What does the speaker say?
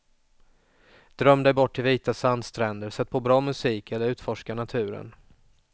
Dröm dig bort till vita sandstränder, sätt på bra musik eller utforska naturen.